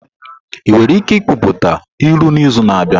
Ị nwere ike ikwuputa ilu n'izu na-abịa?